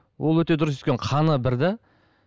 ол өте дұрыс өйткені қаны бір де